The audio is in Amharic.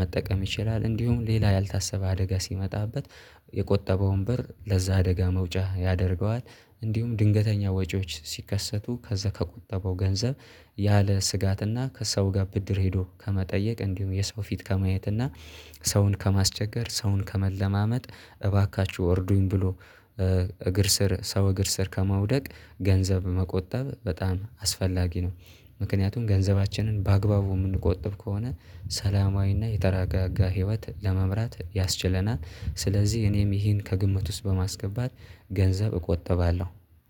መጠቀም ይችላል። እንዲሁም ሌላ ያልታሰበ አደጋ ሲመጣበት የቆጠበውን በር ለዛ አደጋ መውጫ ያደርገዋል። እንዲሁም ድንገተኛ ወጪዎች ሲከሰቱ ከዛ ከቆጠበው ገንዘብ ያለ ስጋትና ከሰው ጋር ብድር ሄዶ ከመጠየቅ እንዲሁም የሰው ፊት ከማየት እና ሰውን ከማስቸገር ሰውን ከመለማመጥ እባካችሁ እርዱኝ ብሎ እግር ስር ሰው እግር ስር ከማውደቅ ገንዘብ መቆጠብ በጣም አስፈላጊ ነው። ምክንያቱም ገንዘባችንን በአግባቡ የምንቆጥብ ከሆነ ሰላማዊና የተራጋጋ ህይወት ለመምራት ያስችለናል። ስለዚህ እኔም ይሄን ከግምት ውስጥ በማስገባት ገንዘብ እቆጠባለሁ